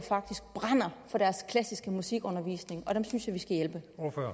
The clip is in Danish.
brænder for deres klassiske musikundervisning